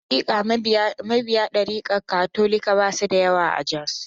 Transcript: Hakika, mabiya darikar Katolika ba su da yawa a Jos.